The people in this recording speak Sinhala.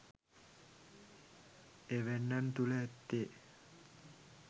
එවැන්නන් තුළ ඇත්තේ